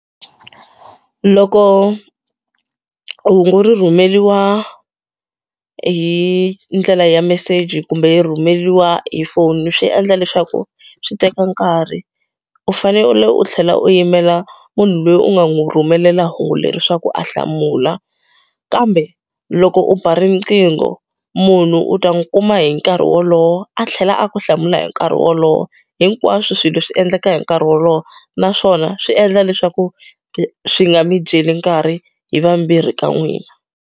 Loko hungu ri rhumeriwa hi ndlela ya meseji kumbe yi rhumeriwa hi foni swi endla leswaku swi teka nkarhi u fane u tlhela u yimela munhu loyi u nga n'wi rhumelela hungu leri swaku a hlamula kambe loko u ba riqingho munhu u ta n'wi kuma hi nkarhi wolowo a tlhela a ku hlamula hi nkarhi wolowo hinkwaswo swilo swi endleka hi nkarhi wolowo naswona swi endla leswaku swi nga mi dyeli nkarhi hi vambirhi ka n'wina.